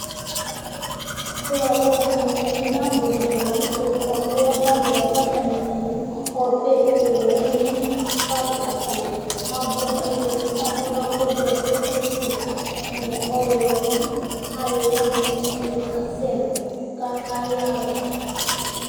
Kʋ akɔsu ɛmɛ mʋa, ima bʋ dìní la ntɛ kɔ nʋ ɔbɛ ava kʋ atani za nʋ ɔbɛ owu li Atani abu Ɛdiní adu ɛku vɛ, ɛku fʋe nʋ ɔwlɔmɔ Alu wani dza kplo kasɛ mɔ kʋ ayaha